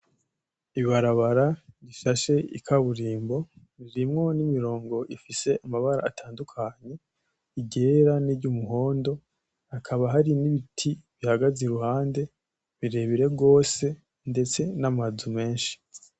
Ni ibarabara rishashe ikaburimbo, ririmwo n'imirongo rifise amabara atandukanye:iryera n'iryumuhondo, hakaba hari n'ibiti bihagaze iruhande birebire gose, ndetse n'amazu menshi.